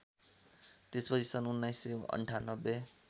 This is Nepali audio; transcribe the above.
त्यसपछि सन् १९९८